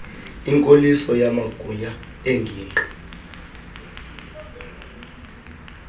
inkoliso yamagunya engingqi